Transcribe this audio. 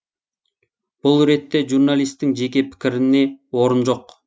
бұл ретте журналистің жеке пікіріне орын жоқ